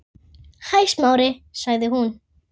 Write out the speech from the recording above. Hæ, Smári- sagði hún.